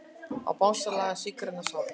Ó Bangsalega sígræna sál.